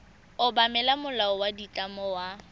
obamela molao wa ditlamo wa